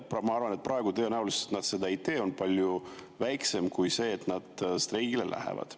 Ma arvan, et praegu on tõenäosus, et nad seda ei tee, palju väiksem kui, et nad streigile lähevad.